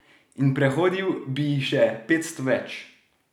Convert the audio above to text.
In prehodil bi jih še petsto več!